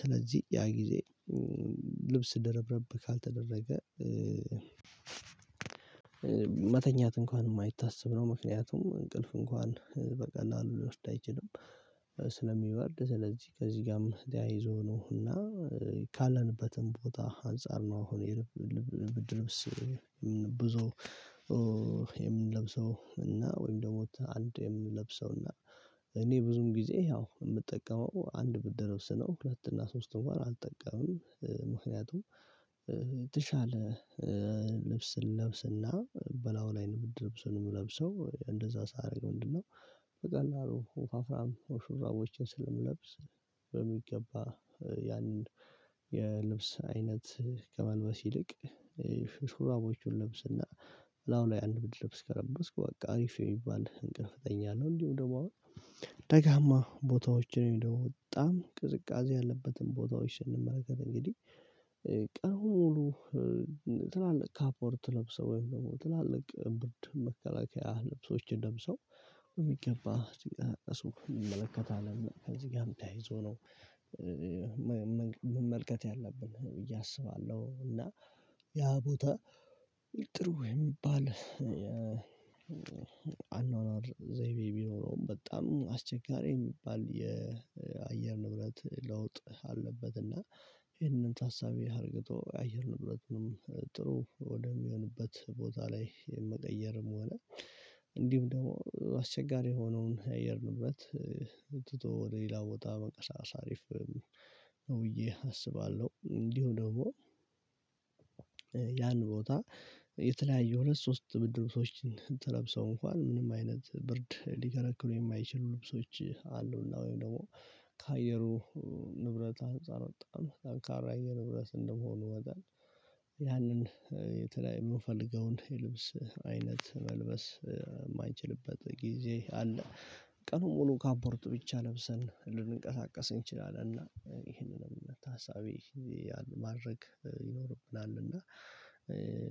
ስለዚህ ያ ጊዜ ልብስ ደረብረብ ካልተደረገ መተኛት እንኳን የማይታሰብ ነው። ምክንያቱም እንቅልፍ እንኳን በቀላሉ ሊወስድ ስለሚበርድ ስለዚህ ከዚህ ጋርም ተያይዞ ነው እና ካለንበትም ቦታ አንፃር ነው። አሁን የብርድ ልብስ ብዙ የምንለብሰው እና ወይም ደግሞ አንድ የምንለብሰው እና እኔ ብዙም ጊዜ ያው የምጠቀመው አንድ ብርድ ልብስ ነው። ሁለት እና ሶስት እንኳን አልጠቀምም። ምክንያቱም የተሻለ ልብስ ለብስና በላው ላይ ነው የምትለብሰው ነው የምለብሰው እንደዛ ሳደርግ ምንድነው? በቀላሉ ወፋፍራም ሹራቦችን ስለምለብስ በሚገባ ያንን የልብስ አይነት ከመንበስ ይልቅ ሽርማዎቹን ልብስና አሁን ላይ አንድ ብርድ ልብስ ከለበስክ በቃ አሪፍ የሚባል እንቅልፍ ብትተኛ ነው። እንዲሁ ደግሞ አሁን ደጋማ ቦታዎችን የወጣ ቅዝቃዜ ያለበትን ቦታዎች ስንመረከት እንግዲህ ቀን ሙሉ ትላልቅ ካፖርት ለብሰው የሚለው ትላልቅ ብርድ መከላከያ ልብሶችን ደምሰው የሚገባ ሲቀመጥ ሰው እንመለከታለን። ከዚህ ጋርም ተያይዞ ነው መመልከት ያለብን ብዬ አስባለሁ። እና ያ ቦታ ጥሩ የሚባል አኗኗር ዘይቤ ቢኖረውም በጣም አስቸጋሪ የሚባል የአየር ንብረት ለውጥ አለበት። እና ይሄንን ታሳቢ አድርገው የአየር ንብረትንም ጥሩ ወደሚሆንበት ቦታ ላይ መቀየርም ሆነ እንዲሁም ደግሞ አስቸጋሪ የሆነውን የአየር ንብረት ትቶ ወደ ሌላ ቦታ መንቀሳቀስ አሪፍ ነው። ብዬ አስባለሁ እንዲሁ ደግሞ ያን ቦታ የተለያየ ሁለት ሶስት ብርድ ልብስ ሰዎችን ለብሰው እንኳን ምንም አይነት ብርድ ሊከላከሉ የማይችሉ ልብሶች አሉና። ወይም ደግሞ ከአየሩ ንብረት ህፃን ወጣት ጠንካራ ንብረት እንደመሆኑ ወጣን ያንን የተለያየ የምፈልገውን የልብስ አይነት መልበስ የማንችልበት ጊዜ አለ። ቀኑን ሙሉ ካፖርት ብቻ ለብሰን ልንቀሳቀስ እንችላለን እና ይህንንም ታሳቢ ማድረግ ይኖርብናል። እና